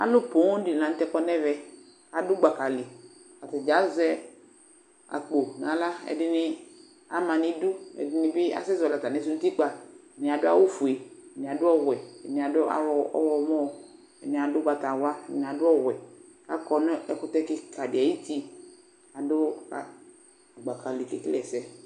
Alu fuũm di la ŋtɛ kɔnu ɛʋɛ Adu gbaka li Atadzaa azɛ akpo na aɣla, ɛdini amanu idu, ɛdini bi asɛ zɔli atamiɛsuɛ nu utikpa Mia du awu ofué, miadu ɔwuɛ, miadu awu ɔwɔmɔn, miadu ugbata wlua, mia du ɔwɛ Akɔ nu ɛkutɛkika di ayuti, adu gbaka li ké kele ɛsɛ